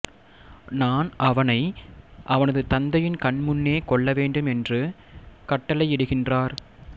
நான் அவனை அவனது தந்தையின் கண்முன்னே கொல்லவேண்டும் என்று கட்டளையிடுகின்றார்